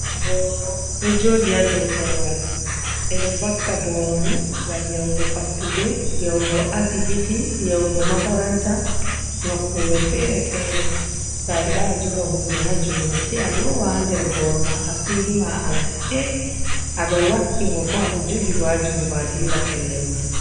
Boro ɗo joɗi haa dow koruwal. Ɓe ɗo vakka boro ni ngam yahugo fattude, yahugo asibiti, yahugo makaranta, nokkure feere-feere. To ayida a joga hunde haa jungo say a lowa haa der boro ma asiri ma a rufe, a ɗo wakki ngo, ko aɗo jogingo haa jungo a dilla pellel mai.